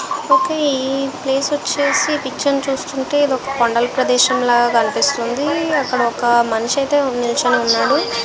ఒకే ఈ ప్లేస్ వచ్చేసి పిక్చర్ చూస్తుంటే ఇది వక కొండల ప్రదేశము లాగా కనిపిస్తుంది అక్కడ ఒక మనిషి ఐతే నిలుచొని ఉన్నారు.